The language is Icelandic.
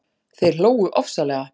Þeir hlógu ofsalega.